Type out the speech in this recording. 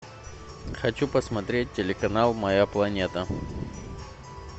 хочу посмотреть телеканал моя планета